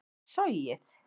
sogið